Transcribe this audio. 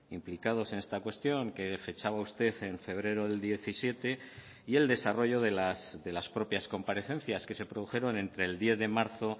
implicados en esta cuestión que fechaba usted en febrero del diecisiete y el desarrollo de las propias comparecencias que se produjeron entre el diez de marzo